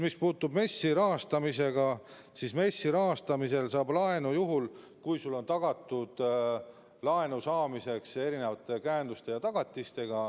Mis puutub MES-i kaudu rahastamisse, siis MES-i rahastamisel saab laenu juhul, kui sul on laenu saamiseks käendused ja tagatised.